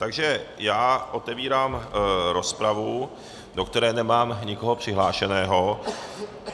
Takže já otevírám rozpravu, do které nemám nikoho přihlášeno.